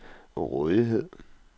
rådighed